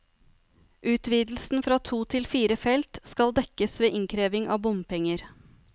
Utvidelsen fra to til fire felt skal dekkes ved innkreving av bompenger.